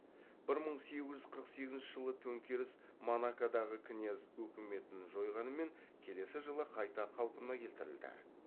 бір мың сегіз жүз қырық сегізінші жылғы төңкеріс монакодағы князь өкіметін жойғанымен келесі жылы қайта қалпына келтірілді